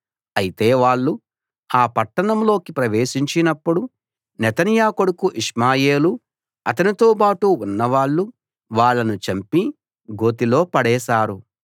అయితే వాళ్ళు ఆ పట్టణంలోకి ప్రవేశించినప్పుడు నెతన్యా కొడుకు ఇష్మాయేలూ అతనితోబాటు ఉన్నవాళ్ళు వాళ్ళను చంపి గోతిలో పడేశారు